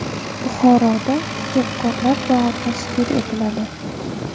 Buxoroda Ijodkorlar bog‘i tashkil etiladi.